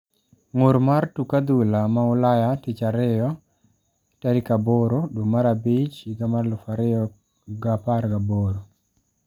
ng'ur mar tuk adhula ma ulaya tich ariyo 08.05.2018